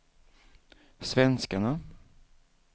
svenskarna